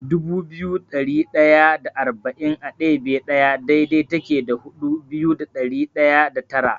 Dubu biyu da ɗari ɗaya da arba'in a ɗebe ɗaya daidai take da dubu biyu da ɗari ɗaya da tara.